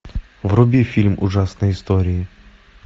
вруби фильм ужасные истории